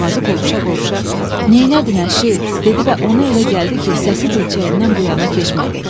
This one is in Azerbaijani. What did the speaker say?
Boğazı qovuşa-qovuşa, "Neylədin əşi?" dedi və ona elə gəldi ki, səsi dilçəyindən bu yana keçmədi.